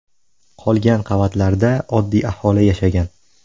Qolgan qavatlarda oddiy aholi yashagan.